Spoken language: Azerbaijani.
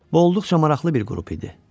Bu olduqca maraqlı bir qrup idi.